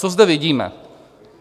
Co zde vidíme?